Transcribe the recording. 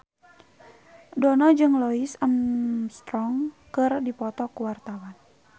Dono jeung Louis Armstrong keur dipoto ku wartawan